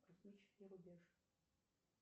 космический рубеж